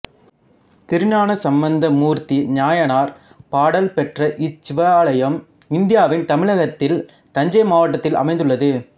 திருஞானசம்பந்தமூர்த்தி நாயனார் பாடல் பெற்ற இச் சிவாலயம் இந்தியாவின் தமிழகத்தில் தஞ்சை மாவட்டத்தில் அமைந்துள்ளது